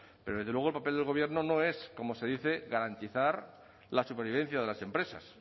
pero desde luego el papel del gobierno no es como se dice garantizar la supervivencia de las empresas